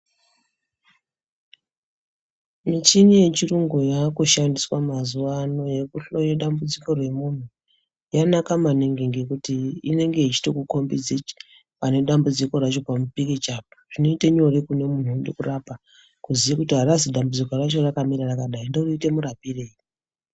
Michini yechirungu yaakushandiswa mazuva ano yekuhloya dambudziko remunhu yanaka maningi ngekuti inenge yechitokukombidze pane dambudziko racho pamupikicha apa. Zvinoite nyore kune munhu waunode kurapa kuziye kuti harazi dambudziko racho rakamira rakadai ndoite murapirei.